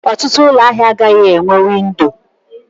Ọtụtụ ụlọ ahịa agaghị enweghị windo.